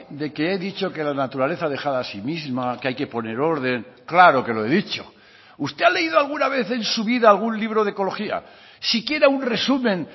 de que he dicho que la naturaleza dejada a sí misma que hay que poner orden claro que lo he dicho usted ha leído alguna vez en su vida algún libro de ecología siquiera un resumen